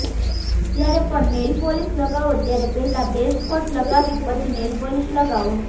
જ્યારે પણ નેઇલપોલિશ લગાવો ત્યારે પહેલાં બેઝકોટ લગાવી પછી નેઇલપોલિશ લગાવો